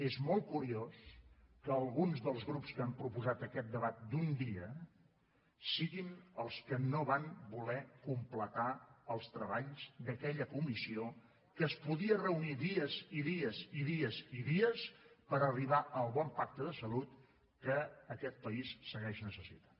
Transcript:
és molt curiós que alguns dels grups que han proposat aquest debat d’un dia siguin els que no van voler completar els treballs d’aquella comissió que es podia reunir dies i dies i dies i dies per arribar al bon pacte de salut que aquest país segueix necessitant